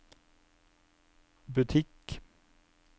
butikk